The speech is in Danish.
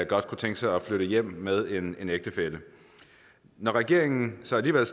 godt kunne tænke sig at flytte hjem til med en ægtefælle når regeringen så alligevel